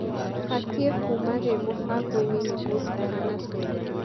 batĩe kuuma rĩ mubangoinĩ nĩgũo ndikanacererwo